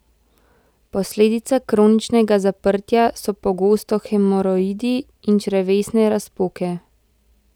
Posledica kroničnega zaprtja so pogosto hemoroidi in črevesne razpoke.